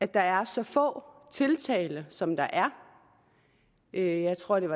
der er så få tiltaler som der er jeg tror at der